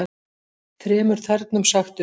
Þremur þernum sagt upp